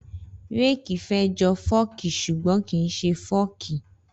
Rẹki fẹ jọ fọki súgbòn kín sẹ fọki